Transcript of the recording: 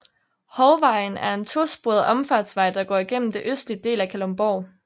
Hovvejen er en to sporet omfartsvej der går igennem det østlige del af Kalundborg